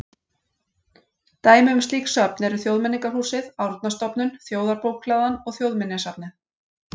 Dæmi um slík söfn eru Þjóðmenningarhúsið, Árnastofnun, Þjóðarbókhlaðan og Þjóðminjasafnið.